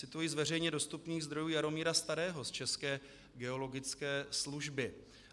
Cituji z veřejně dostupných zdrojů Jaromíra Starého z České geologické služby.